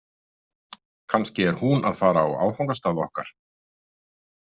Kannski er hún að fara á áfangastað okkar.